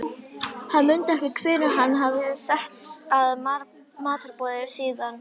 Hann mundi ekki hvenær hann hafði sest að matarborði síðast.